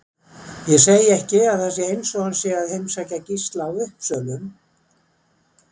Ég segi ekki að það sé eins og hann sé að heimsækja Gísla á Uppsölum